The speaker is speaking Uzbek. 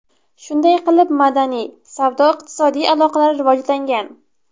Shunday qilib madaniy, savdo-iqtisodiy aloqalar rivojlangan.